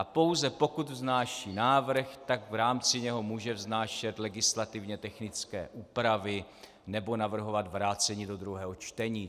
A pouze pokud vznáší návrh, tak v rámci něho může vznášet legislativně technické úpravy nebo navrhovat vrácení do druhého čtení.